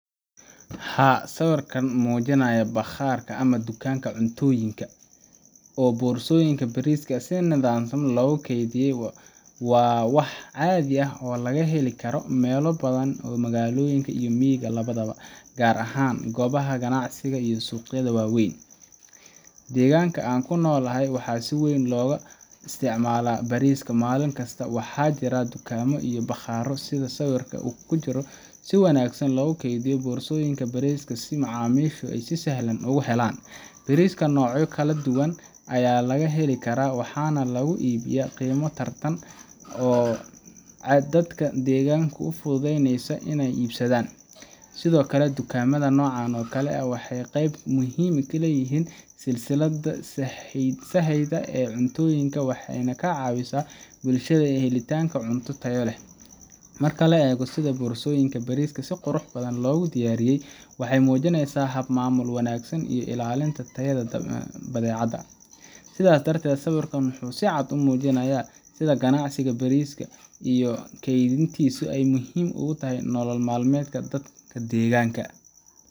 Haa, sawirkan muujinaya bakhaar ama dukaanka cuntooyinka oo boorsooyinka bariiska si nidaamsan loogu kaydiyay, waa wax caadi ah oo laga heli karo meelo badan oo magaalooyinka iyo miyiga labadaba, gaar ahaan goobaha ganacsiga iyo suuqyada waaweyn. Deegaanka aan ku noolahay, waxaa si weyn looga isticmaalaa bariiska maalin kasta, waxaana jira dukaamo iyo bakhaaro sida sawirka ku jira oo si wanaagsan u kaydiya boorsooyinka bariiska si macaamiishu si sahlan ugu helaan. Bariiska noocyo kala duwan ayaa laga heli karaa, waxaana lagu iibiyaa qiimo tartan ah oo dadka deegaanka u fududeynaysa inay iibsadaan. Sidoo kale, dukaamada noocan oo kale ah waxay qeyb muhiim ah ka yihiin silsiladda sahayda ee cuntooyinka, waxayna ka caawiyaan bulshada helitaanka cunto tayo leh. Marka la eego sida boorsooyinka bariiska si qurux badan loogu diyaariyey, waxay muujinaysaa hab maamul wanaagsan iyo ilaalinta tayada badeecada. Sidaas darteed, sawirkan wuxuu si cad u muujinayaa sida ganacsiga bariiska iyo kaydintiisu ay muhiim u tahay nolol maalmeedka dadka deegaanka.